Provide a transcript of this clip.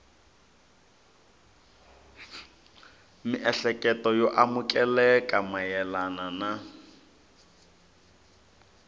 miehleketo yo amukeleka mayelana na